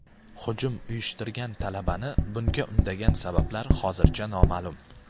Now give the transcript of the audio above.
Hujum uyushtirgan talabani bunga undagan sabablar hozircha noma’lum.